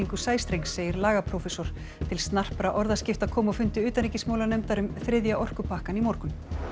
sæstrengs segir lagaprófessor til snarpra orðaskipta kom á fundi utanríkismálanefndar um þriðja orkupakkann í morgun